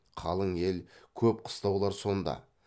қалың ел көп қыстаулар сонда